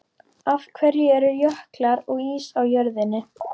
Af hverju eru jöklar og ís á jörðinni?